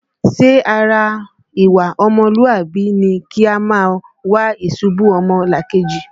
Ṣé ara ìwà ọmọlúàbí ni kí a máa wá ìṣubú ọmọlàkejì?